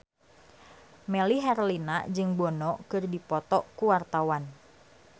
Melly Herlina jeung Bono keur dipoto ku wartawan